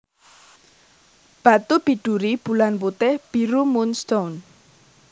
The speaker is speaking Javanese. Batu biduri Bulan putih biru moon stone